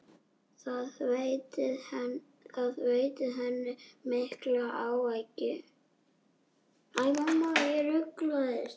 Það veitti henni mikla ánægju.